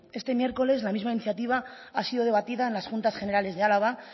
este miércoles la misma iniciativa ha sido debatida en las juntas generales de álava